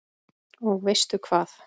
Og veistu hvað?